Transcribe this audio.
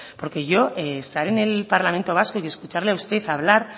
porque yo estar en el parlamento vasco y de escucharle a usted hablar